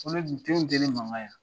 Ne dun nin t'e ni dennin mankan y'a?